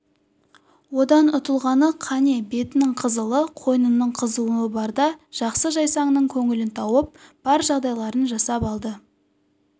одан ұтылғаны қане бетінің қызылы қойнының қызуы барда жақсы-жайсаңның көңілін тауып бар жағдайларын жасап алды